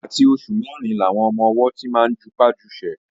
Àti oṣù mẹ́rin làwọn ọmọ-ọwọ́ ti máa ń jupá jusẹ̀